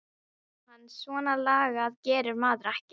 Jóhann svona lagað gerir maður ekki.